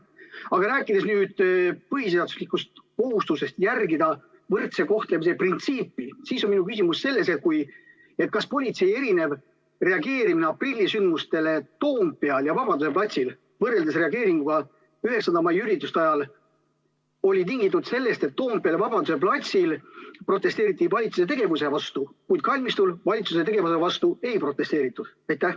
Aga kui rääkida nüüd põhiseaduslikust kohustusest järgida võrdse kohtlemise printsiipi, siis on mul selline küsimus: kas politsei erinev reageerimine aprillisündmustele Toompeal ja Vabaduse platsil võrreldes reageeringuga 9. mai ürituste ajal oli tingitud sellest, et Toompeal ja Vabaduse platsil protesteeriti valitsuse tegevuse vastu, kuid kalmistul valitsuse tegevuse vastu ei protesteeritud?